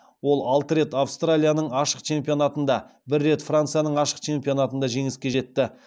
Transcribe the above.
ол алты рет австралияның ашық чемпионатында бір рет францияның ашық чемпионатында жеңіске жетті